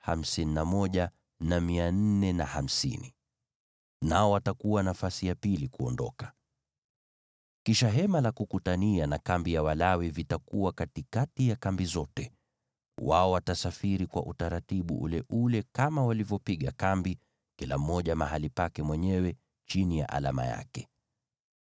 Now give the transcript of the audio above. Kisha Hema la Kukutania na kambi ya Walawi vitakuwa katikati ya kambi zote. Wao watasafiri kwa utaratibu ule ule kama walivyopiga kambi, kila mmoja mahali pake mwenyewe chini ya alama yake.